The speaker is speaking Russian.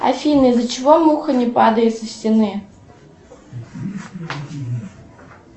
афина из за чего муха не падает со стены